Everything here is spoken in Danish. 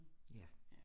Ja